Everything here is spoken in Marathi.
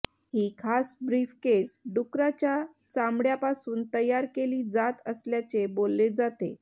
ही खास ब्रीफकेस डुकराच्या चामड्यापासून तयार केली जात असल्याचे बोलले जाते